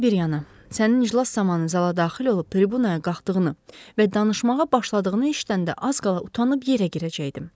Hər şey bir yana, sənin iclas zamanı zala daxil olub tribunaya qalxdığını və danışmağa başladığını eşidəndə az qala utanıb yerə girəcəkdim.